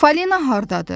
Falina hardadır?